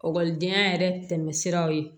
Ɔkɔlidenya yɛrɛ tɛmɛ siraw ye